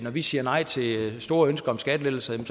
vi siger nej til store ønsker om skattelettelser